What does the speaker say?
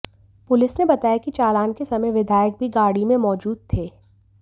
police ने बताया कि चालान के समय विधायक भी गाड़ी में ही मौजूद थे